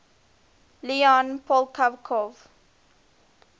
leon poliakov